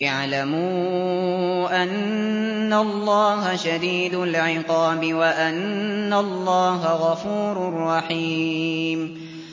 اعْلَمُوا أَنَّ اللَّهَ شَدِيدُ الْعِقَابِ وَأَنَّ اللَّهَ غَفُورٌ رَّحِيمٌ